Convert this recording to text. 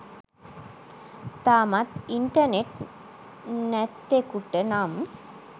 තාමත් ඉන්ටර්නෙට් නැත්තෙකුට නම්